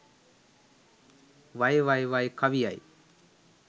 වයි වයි වයි කවියයි